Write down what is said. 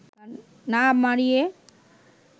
না মাড়িয়ে